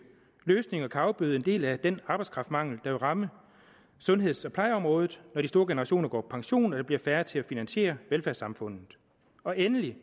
løsninger afbøde en del af den arbejdskraftmangel der vil ramme sundheds og plejeområdet når de store generationer går på pension og der bliver færre til at finansiere velfærdssamfundet og endelig